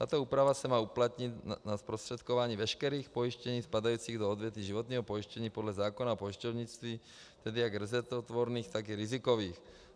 Tato úprava se má uplatnit na zprostředkování veškerých pojištění spadajících do odvětví životního pojištění podle zákona o pojišťovnictví, tedy jak rezervotvorných, tak i rizikových.